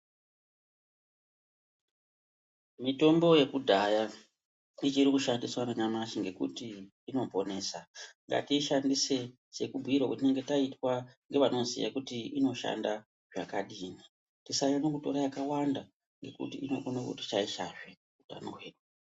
Mitombo yakudhaya ichiri kushandiswa nanyamashi ngekuti inoponesa. Ngatishandise sekubhuirwa kwtinenge taitwa nevanoziya kuti inoshanda zvakadini. Tisanyanye kutora yakawanda ngekuti inokona kuti shaishazve utano hwedu.